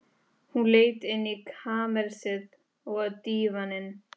Hún leit inn í kamersið, og á dívaninn.